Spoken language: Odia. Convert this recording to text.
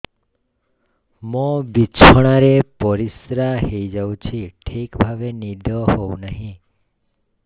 ମୋର ବିଛଣାରେ ପରିସ୍ରା ହେଇଯାଉଛି ଠିକ ଭାବେ ନିଦ ହଉ ନାହିଁ